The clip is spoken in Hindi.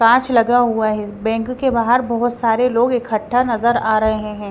कांच लगा हुआ है बैंक के बाहर बहोत सारे लोग इकट्ठा नजर आ रहे हैं।